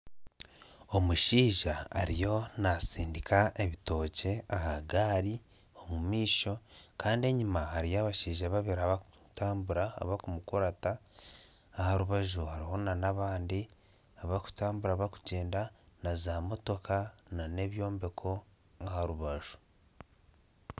Omushaija ariyo nasindiika ebitookye ahagaari omumaisho Kandi enyuma hariyo abashaija babibiri abarikutambura abarikumuruta aharubaju hariho nabandi abarikutambura barikugyenda naza motooka nana ebyombeko aharubaju